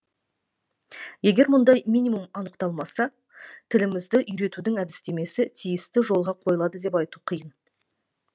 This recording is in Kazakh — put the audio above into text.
егер мұндай минимум анықталмаса тілімізді үйретудің әдістемесі тиісті жолға қойылады деп айту қиын